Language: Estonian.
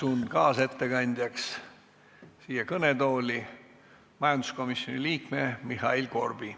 Kutsun kaasettekandjaks kõnetooli majanduskomisjoni liikme Mihhail Korbi.